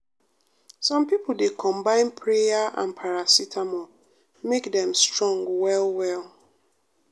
some pipo dey combine prayer and paracetamol make dem strong well well.